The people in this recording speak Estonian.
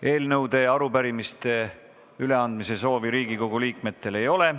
Eelnõude ja arupärimiste üleandmise soovi Riigikogu liikmetel ei ole.